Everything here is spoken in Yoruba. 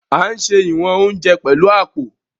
A n ṣe ìwọn oúnjẹ pẹlu apó